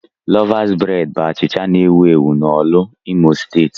Lọvas breed bụ achịcha na-ewu ewu na Orlu, Imo steeti.